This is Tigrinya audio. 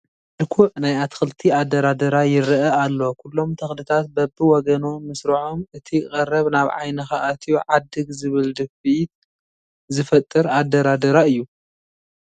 ምልኩዕ ናይ ኣትክልቲ ኣደራድራ ይርአ ኣሎ፡፡ ኩሎም ተኽልታት በብወገኖም ምስርዓሞ እቲ ቀረብ ናብ ዓይንኻ ኣትዩ ዓድግ ዝብል ድፍኢት ዝፈጥር ኣደራድራ እዩ፡፡